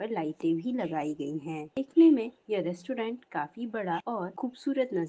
यहाँ पर लाइटें भी लगाई गई है देखने में ये रेस्टोरेंट काफी बड़ा और खूबसूरत नज़र--